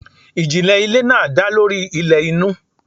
Ijinle ile naa da lori ilẹ inu